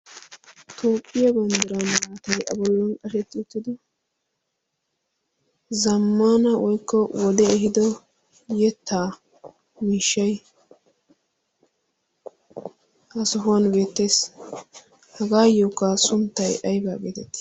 toopphiyaa banddira aatai a bollan ashetti uttido zammana woykko wode ehido yettaa wiishshai haasahuwan beettees hagaayyookka sunttay aybaa geetetti?